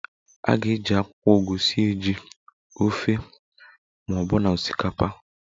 A ga-eji akwụkwọ ugu sie ji, ofe ma ọbụna osikapa